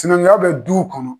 Sinankuya bɛ duw kɔnɔ.